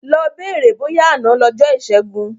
Lọ bèrè bóyá àná lọjọ́ ìṣẹ́gun.